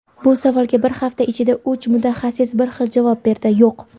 Bu savolga bir hafta ichida uch mutaxassis bir xil javob berdi: "Yo‘q!".